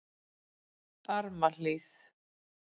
Barmahlíð